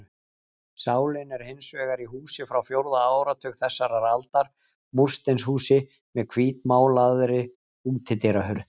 Sálin er hins vegar í húsi frá fjórða áratug þessarar aldar, múrsteinshúsi með hvítmálaðri útidyrahurð.